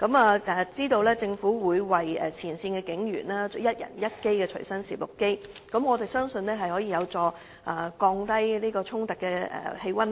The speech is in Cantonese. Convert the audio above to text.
我得悉政府會為前線警務人員提供每人一部隨身攝錄機，相信這將有助紓緩警民衝突，亦可